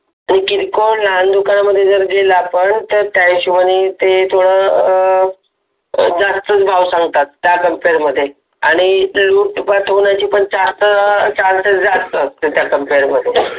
किरकोळ लहान दुकानात जर गेलो आपण तर ते आपण जास्त भाव सांगतात मध्ये आणि सांगतात जास्त त्याच्या कंपेअर मध्ये